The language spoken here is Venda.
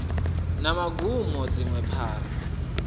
na magumo na dziṅwe phara